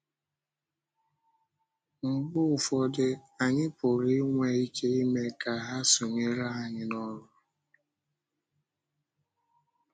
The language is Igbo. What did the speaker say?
Mgbe ụfọdụ, anyị pụrụ inwe ike ime ka ha sonyere anyị n’ọ́rụ.